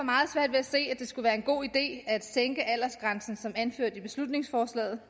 at se at det skulle være en god idé at sænke aldersgrænsen som anført i beslutningsforslaget